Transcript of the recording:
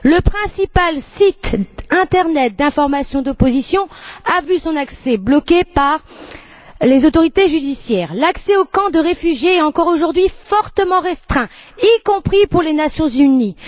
Le principal site Internet d'information d'opposition a vu son accès bloqué par les autorités judiciaires, l'accès aux camps de réfugiés est encore aujourd'hui fortement restreint, y compris pour les Nations unies.